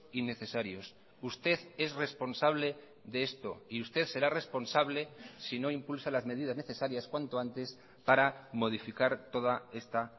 innecesarios usted es responsable de esto y usted será responsable si no impulsa las medidas necesarias cuanto antes para modificar toda esta